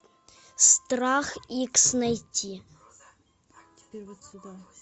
страх икс найти